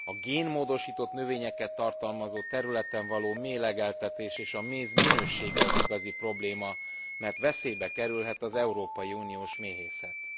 A génmódosított növényeket tartalmazó területen való méhlegeltetés és a méz minősége az igazi probléma, mert veszélybe kerülhet az európai uniós méhészet.